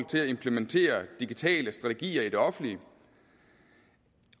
til at implementere digitale strategier i det offentlige